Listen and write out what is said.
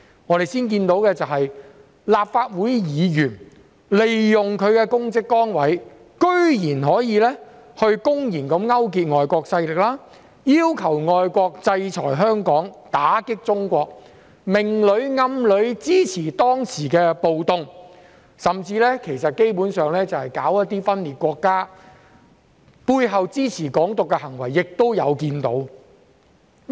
我們先看到的是，立法會議員居然利用其公職崗位公然勾結外國勢力，要求外國制裁香港，打擊中國，明裏暗裏支持當時的暴動，甚至基本上是分裂國家，背後支持"港獨"的行為也有看到。